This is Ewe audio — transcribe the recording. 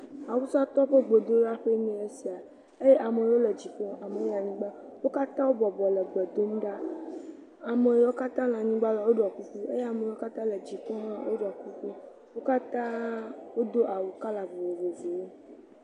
Awusatɔwo ƒe gbedoɖaƒee nye esia eye ame aɖewo le dziƒo eye ame aɖewo le anyigba. Wo katã wobɔbɔ le le gbe dom ɖa. Ame yiwo katã le anyigba ɖɔ kuku eye amewo katã le dziƒo hã woɖɔ kuku. Wo katã wodo awu kɔla vovovowo.